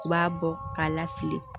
U b'a bɔ k'a lafili